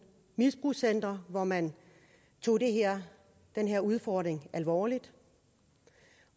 misbrugscentre hvor man tog den her udfordring alvorligt